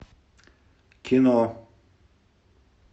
кино